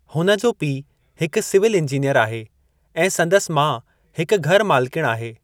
हुन जो पीउ हिकु सिविल इंजीनियरु आहे, ऐं संदसि माउ हिकु घर मालिकिणि आहे।